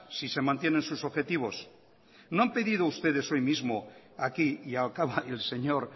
si se mantienen sus objetivos no han pedido ustedes hoy mismo aquí y el señor